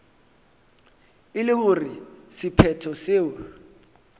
e le gore sephetho seo